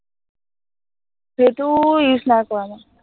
সেইটো use নাই কৰা মই